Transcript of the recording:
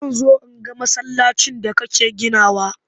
Zan zo in ga masallacin da kake ginawa.